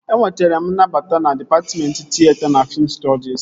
Enwetara m nnabata na dịpatmentị tịyeta na fiim stọdis